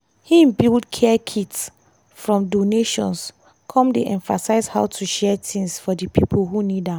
hin build care kits from donations come dey emphasize how to share things for di pipo who need am.